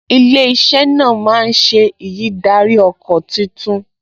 Ilé-iṣẹ́ náà máa ṣe ìyídáríọkọ̀ tuntun